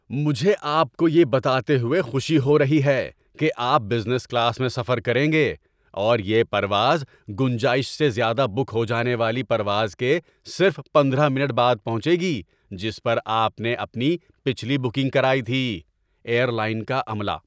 مجھے آپ کو یہ بتاتے ہوئے خوشی ہو رہی ہے کہ آپ بزنس کلاس میں سفر کریں گے اور یہ پرواز گنجائش سے زیادہ بک ہو جانے والی پرواز کے صرف پندرہ منٹ بعد پہنچے گی جس پر آپ نے اپنی پچھلی بکنگ کرائی تھی۔ (ایئر لائن کا عملہ)